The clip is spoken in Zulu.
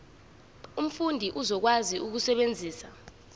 umfundi uzokwazi ukusebenzisa